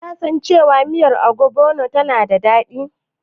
Kasan cewa miyar Ogbono tana da daɗi?